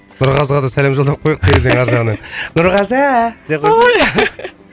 нұрғазыға да сәлем жолдап қояйық терезенің ар жағынан нұрғазы